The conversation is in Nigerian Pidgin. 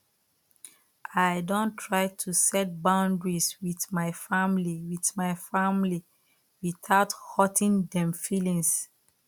i don try to set boundaries with my family with my family without hurting dem feelings